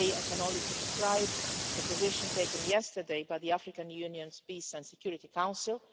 Today, I can only subscribe to the position taken yesterday by the African Union's Peace and Security Council.